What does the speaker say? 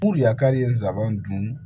yakari ye n sabanan dun